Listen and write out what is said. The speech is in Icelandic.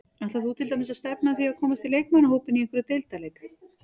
Ætlar þú til dæmis að stefna að því að komast í leikmannahópinn í einhverjum deildarleik?